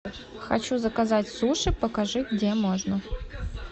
хочу заказать суши покажи где можно